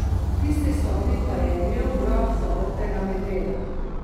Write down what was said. V tisti sobi pa je imel grof zaprtega medveda.